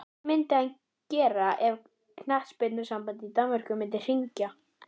Hvað myndi hann gera ef knattspyrnusambandið í Danmörku myndi hringja?